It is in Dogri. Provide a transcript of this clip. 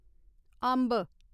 अम्ब